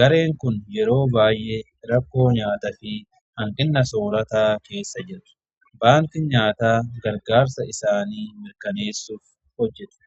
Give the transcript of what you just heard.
gareen kun yeroo baay'ee rakkoo nyaataa fi hanqina soorataa irratti hojjeta. baankiin nyaataa gargaarsa isaanii mirkaneessuuf hojjeta.